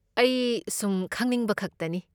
ꯑꯩ ꯁꯨꯝ ꯈꯪꯅꯤꯡꯕ ꯈꯛꯇꯅꯤ꯫